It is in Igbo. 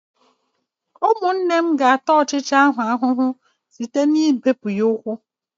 Ụmụnne m ga-ata ọchịcha ahụ ahụhụ site n'ịbe ụkwụ ya.